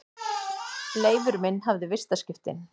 Leifur minn hafði vistaskiptin.